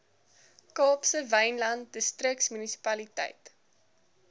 kaapse wynland distriksmunisipaliteit